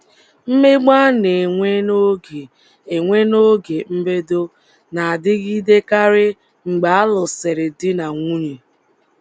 Mmegbu a na - enwe n’oge enwe n’oge mbedo na - adịgidekarị mgbe a lụsịrị di na nwunye